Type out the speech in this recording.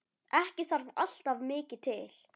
Ekki þarf alltaf mikið til.